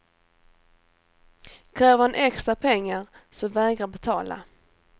Kräver han extra pengar så vägra betala.